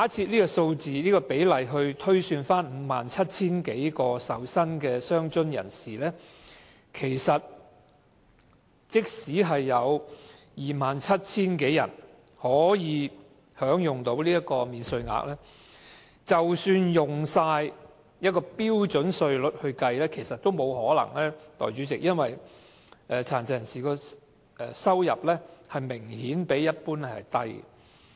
如果按照這個比例推算，在 57,000 多名領取傷殘津貼的受薪人士中，便有 27,000 多人可享新增的免稅額，但按標準稅率計算卻不可能有這麼多人，因為殘疾人士的收入明顯較低。